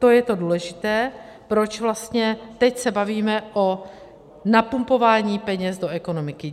To je to důležité, proč vlastně teď se bavíme o napumpování peněz do ekonomiky.